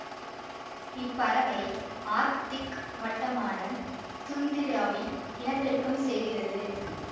இப்பறவை Arctic வட்டமான துந்திராவில் இனப்பெருக்கம் செய்கிறது